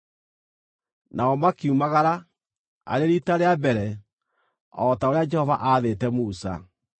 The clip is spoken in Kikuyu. Nao makiumagara, arĩ riita rĩa mbere, o ta ũrĩa Jehova aathĩte Musa.